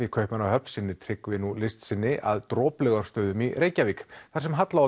í Kaupmannahöfn sinnir Tryggvi nú list sinni að Droplaugarstöðum í Reykjavík þar sem Halla